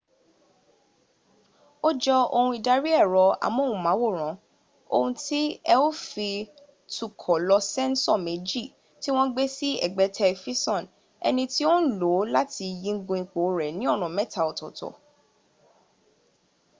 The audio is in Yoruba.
ó jọ ohun ìdarí ẹ̀rọ amóhùnmáwòrán ohun tí ẹ ó fi tukọ̀ lo sẹ́ńsọ̀ méjì tí wọ́n gbé sí ẹ̀gbẹ́tẹ̀ifisàn ẹni tí ó ń lòó láti yígun ipo rẹ̀ ni ọnà mẹ́ta ọ̀tọ̀ọ̀tọ̀